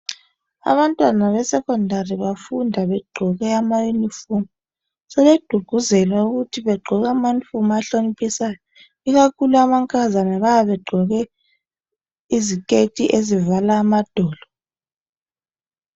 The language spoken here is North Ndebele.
abantwana be secondary bafunda begqoke ama uniform sebegqugquzelwa ukuthi begqoke ama uniform ahloniphisayo ikakhulu amankazana bayabe begqoke iziketi ezivala amadolo